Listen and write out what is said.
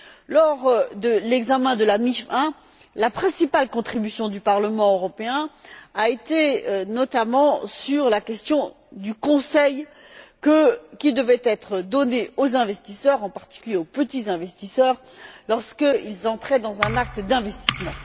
Lors de l'examen de la MIF I, la principale contribution du Parlement européen portait, notamment, sur la question du conseil qui devait être donné aux investisseurs, en particulier, aux petits investisseurs, lorsqu'ils s'engageaient dans un acte d'investissement.